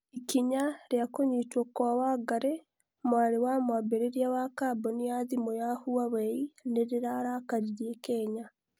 ikinya ria kũnyitwo kwa Wangari, mwarĩ wa mwambĩrĩria wa kamboni ya thĩmũ ya Huawei nĩrĩrarakaririe Kenya